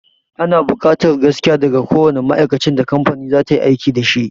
Ana buƙatar gaskiya daga kowanne ma'aikacin da kamfani za ta yi aiki dashi